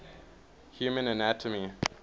human anatomy